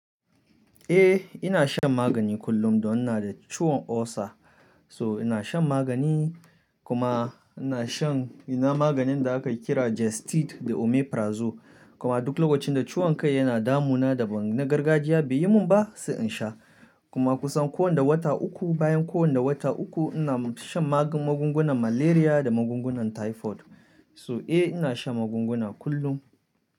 Eh ina shan magani kullum don ina da ciwon ulcer. So ina shan magani kuma ina shan ina maganin da aka kira Gestid da Omeprazole kuma duk lokacin da ciwon kai yana damu na da ban na gargajiya bai yi mun ba sai in sha. Kuma kusan ko wanda wata uku bayan ko wanda wata uku ina shan magungunan malaria da magungunan typhoid. So eh ina shan magunguna kullum.